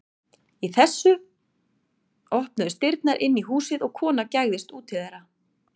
Í þessu opnuðust dyrnar inn í húsið og kona gægðist út til þeirra.